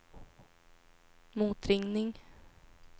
motringning